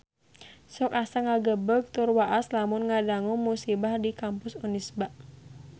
Sok asa ngagebeg tur waas lamun ngadangu musibah di Kampus Unisba